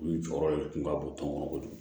U jɔyɔrɔ de kun ka bon tɔn kɔnɔ kojugu